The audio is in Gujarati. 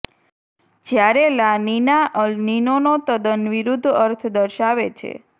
જ્યારે લા નીના અલ નીનોનો તદ્દન વિરુદ્ધ અર્થ દર્શાવે છે